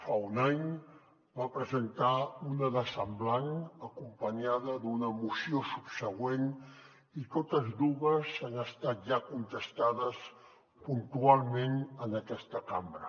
fa un any en va presentar una de semblant acompanyada d’una moció subsegüent i totes dues han estat ja contestades puntualment en aquesta cambra